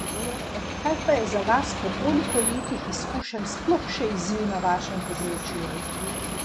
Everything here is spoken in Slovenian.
Kaj pa je za vas po toliko letih izkušenj sploh še izziv na vašem področju?